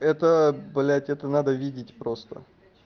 это блядь это надо видеть просто